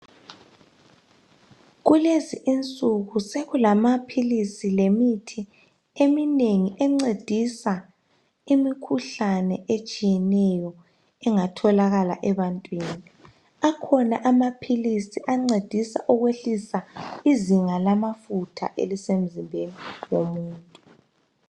Kulezi insuku sekulamaphilisi lemithi eminengi, encedisa imikhuhlane etshiyeneyo, engatholakala ebantwini. Akhona amaphilisi, ancedisa ukwehlisa izinga lamafutha elisemzimbeni womuntu.